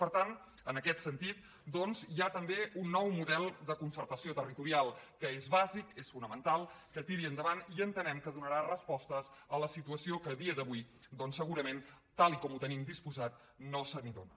per tant en aquest sentit doncs hi ha també un nou model de concertació territorial que és bàsic és fonamental que tiri endavant i entenem que donarà respostes a la situació que a dia d’avui doncs segurament tal com ho tenim disposat no se n’hi dóna